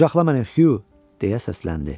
Quçaqla məni Hü, deyə səsləndi.